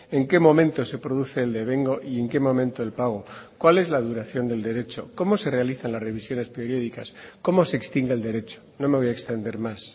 en qué momento se produce el devengo y en qué momento el pago cuál es la duración del derecho cómo se realizan las revisiones periódicas cómo se extingue el derecho no me voy a extender más